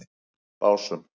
Básum